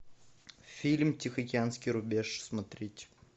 фильм тихоокеанский рубеж смотреть